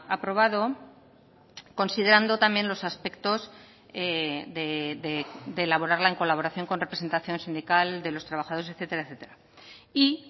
aprobado considerando también los aspectos de elaborarla en colaboración con representación sindical de los trabajadores etcétera etcétera y